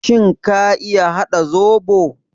Shin ka iya haɗa zobo?